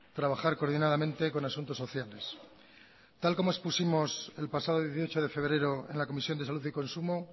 trabajar coordinadamente con asuntos sociales tal como expusimos el pasado dieciocho de febrero en la comisión de salud y consumo